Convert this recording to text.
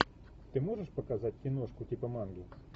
ты можешь показать киношку типа манги